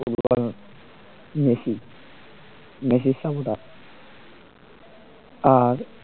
Messi মেসির supporter আর